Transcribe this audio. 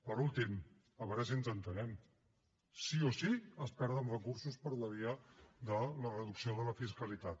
per últim a veure si ens entenem sí o sí es perden recursos per la via de la reducció de la fiscalitat